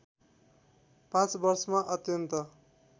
पाँच वर्षमा अत्यन्त